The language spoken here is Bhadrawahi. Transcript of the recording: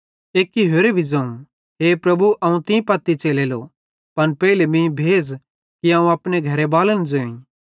एक्के होरे भी ज़ोवं ए प्रभु अवं तीं पत्ती च़लेलो पन पेइले मीं भेज़ कि अवं अपने घरेबालन ज़ोईं